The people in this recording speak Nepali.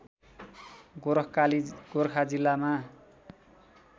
गोरखकाली गोर्खा जिल्लामा